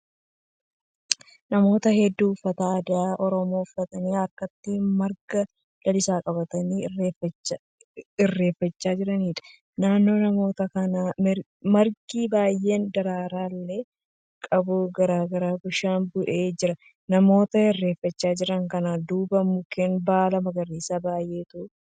Namoota hedduu uffata aadaa Oromoo uffatanii harkatti marga lalisaa qabatanii irreeffachaa jiraniidha. Naannoo namoota kanaa margi baay'een daraaraa illee qabu qarqara bishaanii bu'ee jira. Namoota irreeffachaa jiran kana duuba mukeen baala magariisaa baay'eetu.